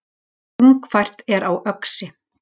Þungfært er á Öxi